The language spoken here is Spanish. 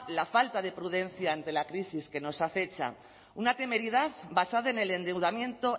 la falta de prudencia ante la crisis que nos acecha una temeridad basada en el endeudamiento